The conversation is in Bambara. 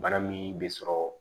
Bana min bɛ sɔrɔ